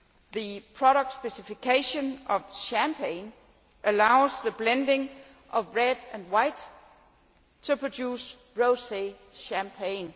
The product specification of Champagne allows the blending of red and white to produce rosé Champagne.